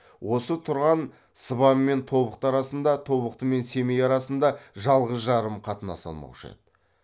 осы тұрған сыбан мен тобықты арасында тобықты мен семей арасында жалғыз жарым қатынаса алмаушы еді